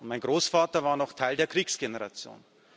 Mein Großvater war noch Teil der Kriegsgeneration.